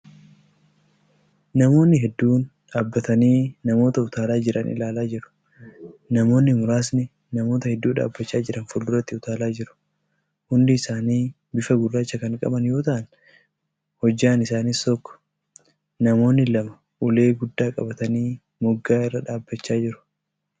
Namoonni hedduun dhaabbatanii namoota utaalaa jiran ilaalaa jiru. Namoonni muraasni namoota hedduu dhaabbachaa jiran fuulduratti utaalaa jiru. Hundi isaanii bifa gurraacha kan qaba yoo ta'an hojjaan isaaniis tokko. Namoonni lama ulee guddaa qabatanii moggaa irra dhaabbachaa jiru.